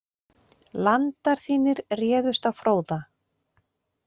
Landar þínir réðust á Fróða.